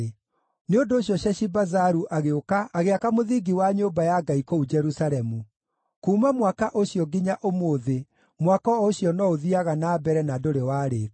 Nĩ ũndũ ũcio Sheshibazaru agĩũka agĩaka mũthingi wa nyũmba ya Ngai kũu Jerusalemu. Kuuma mwaka ũcio nginya ũmũthĩ mwako ũcio no ũthiiaga na mbere na ndũrĩ warĩĩka.”